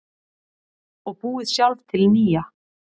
Og búið sjálf til nýja.